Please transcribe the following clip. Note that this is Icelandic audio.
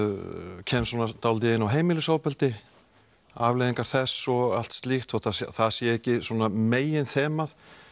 kem dálítið inn á heimilisofbeldi afleiðingar þess og allt slíkt þótt það sé ekki svona meginþemað